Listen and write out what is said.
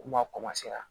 Kuma